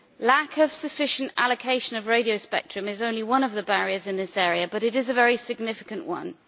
Lack of sufficient allocation of radio spectrum is only one of the barriers in this area, but it is a very significant one.